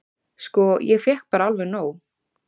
"""Sko, ég fékk bara alveg nóg."""